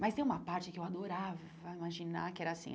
Mas tem uma parte que eu adorava imaginar que era assim.